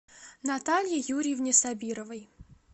наталье юрьевне сабировой